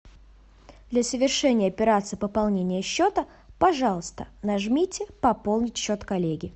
для совершения операции пополнения счета пожалуйста нажмите пополнить счет коллеги